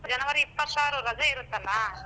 January ಇಪ್ಪತ್ತಾರು ರಜೆ ಇರುತ್ತಲ್ಲ.